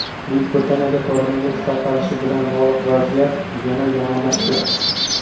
Buyuk Britaniyada koronavirus tarqalishi bilan bog‘liq vaziyat yana yomonlashdi.